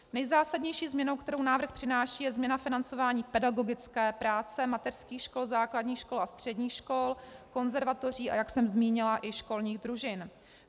Nejzásadnější změnou, kterou návrh přináší, je změna financování pedagogické práce mateřských škol, základních škol a středních škol, konzervatoří, a jak jsem zmínila, i školních družin.